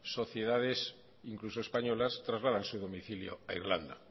sociedades incluso españolas trasladan su domicilio a irlanda